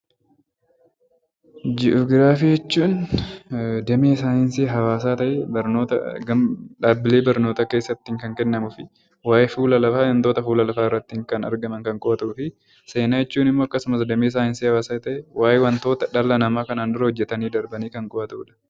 Ji'oogiraafii jechuun damee saayinsii hawaasaa ta'ee barnoota dhaabilee barnootaa keessatti kan kennamuu fi waayee fuula lafaa wantoota fuula lafaa irratti kan argaman kan qo'atuu fi seenaa jechuun immoo akkasumas damee saayinsii hawaasaa ta'ee waayee wantoota dhala namaa kanaan dura hojjetanii darbanii kan qo'atuu dha.